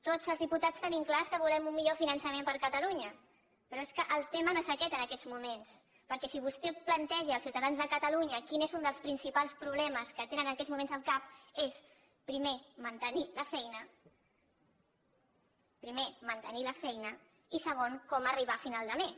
tots els diputats tenim clar que volem un millor finançament per a catalunya però és que el tema no és aquest en aquests moments perquè si vostè planteja als ciutadans de catalunya quin és un dels principals problemes que tenen en aquests moments al cap és primer mantenir la feina primer mantenir la feina i segon com arribar a final de mes